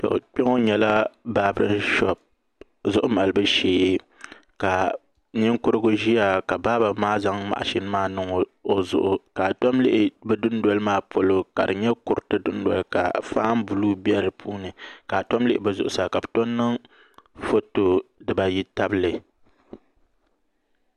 Kpɛ ŋo nyɛla baabirin shoop zuɣu malibu shee ka ninkurigu ʒiya ka baaba maa zaŋ mashin maa niŋ o zuɣu ni ka a tom lihi bi dundoli maa polo ka di nyɛ kuriti dundoli ka faan nim bɛ di puuni ka a tom lihi bi zuɣusa ka bi tom niŋ foto dibayi tabili